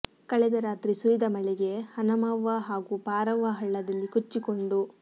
ಕಳೆದ ರಾತ್ರಿ ಸುರಿದ ಮಳೆಗೆ ಹನಮವ್ವ ಹಾಗೂ ಪಾರವ್ವ ಹಳ್ಳದಲ್ಲಿ ಕೊಚ್ಚಿಕೊಂಡು